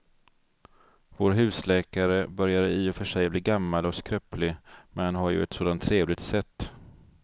Vår husläkare börjar i och för sig bli gammal och skröplig, men han har ju ett sådant trevligt sätt!